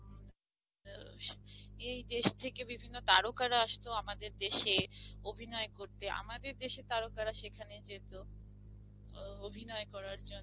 আহ এই দেশ থেকে বিভিন্ন তারকারা আসতো আমাদের দেশে অভিনয় করতে, আমাদের দেশের তারকারা সেখানে যেত আহ অভিনয় করার জন্য।